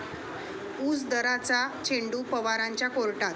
ऊस दराचा चेंडू पवारांच्या कोर्टात!